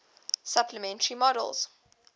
supplementary models